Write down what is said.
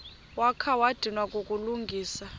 wakha wadinwa kukulungisa